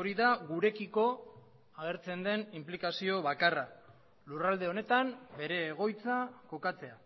hori da gurekiko agertzen den inplikazio bakarra lurralde honetan bere egoitza kokatzea